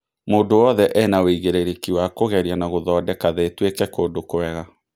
Mũndũ wothe ena ũigĩrĩrĩki wa kũgeria na gũthondeka thĩ ĩtũĩke kũndũ kwega.